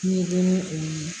Ni ko ni o ye